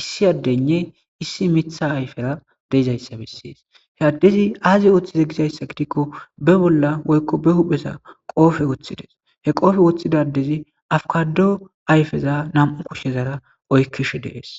issi addenne issi mitha ayfera deezayssa bessies he addezi aazi ooththize gizayssa gidikko be bolla woykko be huphesa qoofe woththides he qoofe woththidadezi afkado ayfeza nam7u kushshezara oykkish dees.